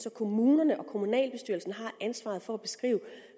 at kommunerne og kommunalbestyrelserne har ansvaret for at beskrive